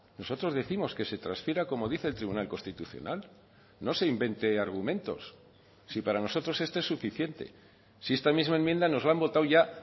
nosotros décimos que se transfiera como dice el tribunal constitucional no se invente argumentos si para nosotros este es suficiente si esta misma enmienda nos la han votado ya